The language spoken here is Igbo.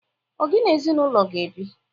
Ọ gị na-ezinụlọ ga bi?